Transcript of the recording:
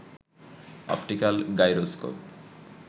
optical gyroscope